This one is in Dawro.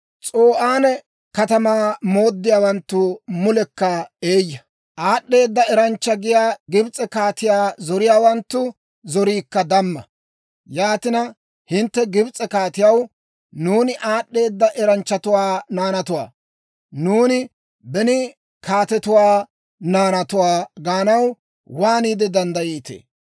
S'o'aane katamaa mooddiyaawanttu mulekka eeyya; aad'd'eeda eranchcha giyaa Gibs'e kaatiyaa zoriyaawanttu zoriikka damma. Yaatina, hintte Gibs'e kaatiyaw, «Nuuni aad'd'eeda eranchchatuwaa naanatuwaa; nuuni beni kaatetuu naanatuwaa» gaanaw waaniide danddayiitee?